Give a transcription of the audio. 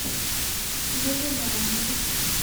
безымянные